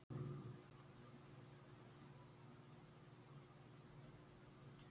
yfirleitt eru þessar tölur mjög öruggar